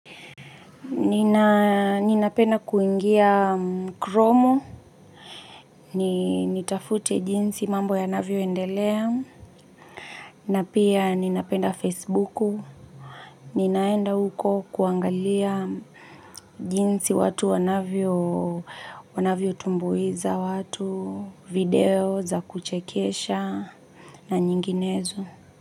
Ninapenda kuingia kromu, nitafute jinsi mambo yanavyoendelea, na pia ninapenda Fesibuku, ninaenda huko kuangalia jinsi watu wanavyo tumbuiza watu, video za kuchekesha na nyinginezo.